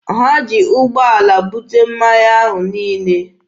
Ha ji ụgbọala bute mmanya ahụ niile.